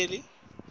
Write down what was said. yiphakeni